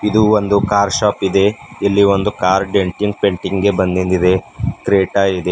ಇದು ಒಂದು car shop ಇದೆ ಇಲ್ಲಿ ಒಂದು ಕಾರ್ ಡೆಂಟಿಂಗ್ ಪೇಂಟಿಂಗ್ ಗೆ ಬಂದಿಂದಿದೆ ಕ್ರೇಟಾ ಇದೆ.